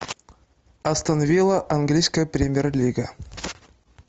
астон вилла английская премьер лига